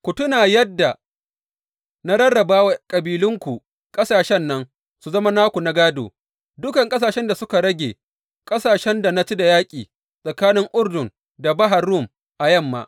Ku tuna yadda na rarraba wa kabilanku ƙasashen nan su zama naku na gādo, dukan ƙasashen da suka rage, ƙasashen da na ci da yaƙi, tsakanin Urdun da Bahar Rum a yamma.